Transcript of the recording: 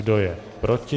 Kdo je proti?